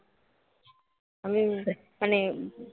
মানে